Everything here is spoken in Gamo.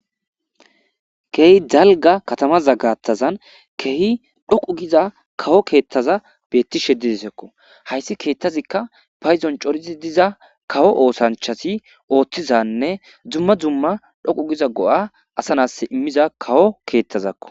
Keehi dalga katama zaggattazan kehi dhoqu giza kawo keettaza beettishedidesekko hayssi keettazikka payzon corizi diza kawo oosanchasi ooththizanne dzumma dzumma dhoqu giza go'a asanas immiza kawo keettazakko